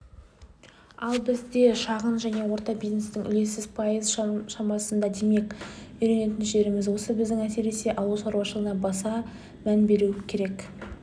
ал бізде шағын және орта бизнестің үлесі пайыз шамасында демек үйренетін жеріміз осы біздің әсіресе ауыл шаруашылығына баса мән беру керек